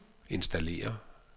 installere